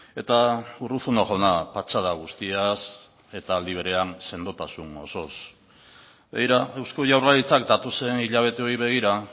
eta urruzuno jauna patxada guztiaz eta aldi berean sendotasun osoz begira eusko jaurlaritzak datozen hilabeteei begira